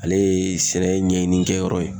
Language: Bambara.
Ale ye sɛnɛ ɲɛɲini kɛ yɔrɔ ye.